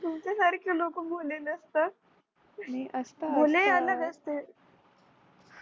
तुमच्यासारखे लोक आलेल्या भोले नसतं